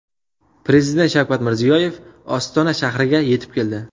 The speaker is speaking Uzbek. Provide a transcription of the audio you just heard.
Prezident Shavkat Mirziyoyev Ostona shahriga yetib keldi .